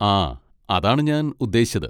ആ, അതാണ് ഞാൻ ഉദ്ദേശിച്ചത്.